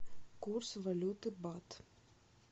курс валюты бат